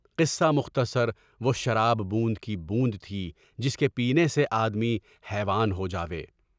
قصہ مختصر وہ شراب بوند کی بوند تھی جس کے پینے سے آدمی حیوان ہو جائے۔